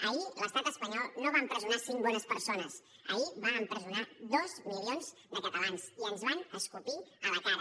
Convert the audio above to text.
ahir l’estat espanyol no va empresonar cinc bones persones ahir va empresonar dos milions de catalans i ens van escopir a la cara